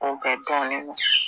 O kɛ tɔn nin